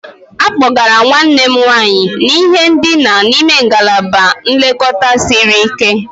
A kpọgara nwanne m nwanyị n'ihe ndina n'ime ngalaba nlekọta siri ike